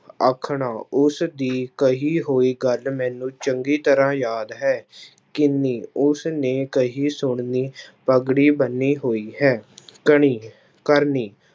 ਆਖਣਾ ਉਸ ਦੀ ਕਹੀ ਹੋਈ ਗੱਲ ਮੈਨੂੰ ਚੰਗੀ ਤਰ੍ਹਾਂ ਯਾਦ ਹੈ ਕਿੰਨੀ, ਉਸ ਨੇ ਕਹੀ ਸੋਹਣੀ ਪੱਗੜੀ ਬੰਨੀ ਹੋਈ ਹੈ ਕਣੀ ਕਰਨੀ